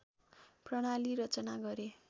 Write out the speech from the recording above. प्रणाली रचना गरे